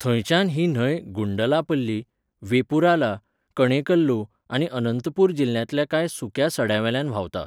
थंयच्यान ही न्हंय गुंडलापल्ली, वेपुराला, कणेकल्लु आनी अनंतपूर जिल्ल्यांतल्या कांय सुक्या सड्यांवेल्यान व्हांवता.